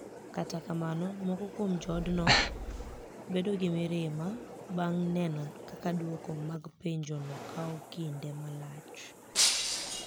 Kata kamano, moko kuom joodno bedo gi mirima banig' ni eno kaka dwoko mag penijono kawo kinide malach.